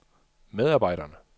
medarbejderne